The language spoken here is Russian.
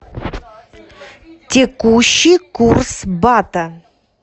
текущий курс бата